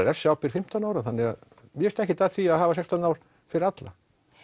refsiábyrgð fimmtán ára þannig að mér finnst ekkert að því að hafa sextán ár fyrir alla